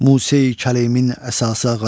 Musa Kəleyimin əsası ağac.